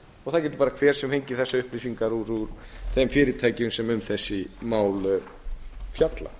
og það getur hver fengið þessar upplýsingar úr þeim fyrirtækjum sem um þessi mál fjalla